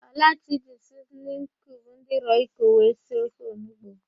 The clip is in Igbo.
Ọlachi ji siznin kiub ndỊ rọiko wee si ofe onugbo.